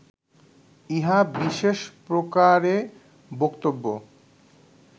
ইহা বিশেষ প্রকারে বক্তব্য